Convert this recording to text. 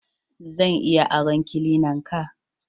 Zan iya aron cleanan ka?